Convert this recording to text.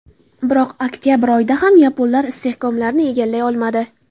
Biroq oktabr oyida ham yaponlar istehkomlarni egallay olmadi.